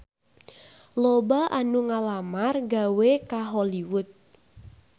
Loba anu ngalamar gawe ka Hollywood